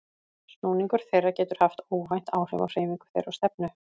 Snúningur þeirra getur haft óvænt áhrif á hreyfingu þeirra og stefnu.